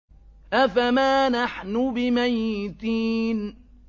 أَفَمَا نَحْنُ بِمَيِّتِينَ